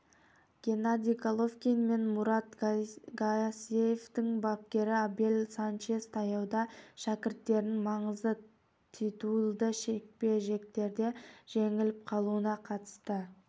геннадий головкин мен мурат гассиевтің бапкері абель санчес таяуда шәкірттерінің маңызды титулды жекпе-жектерде жеңіліп қалуына қатысты